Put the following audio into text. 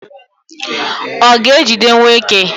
ọ ga-ejidewo eke?